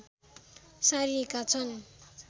सारिएका छन्